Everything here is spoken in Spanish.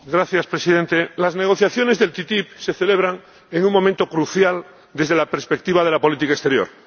Señor Presidente, las negociaciones de la ATCI se celebran en un momento crucial desde la perspectiva de la política exterior.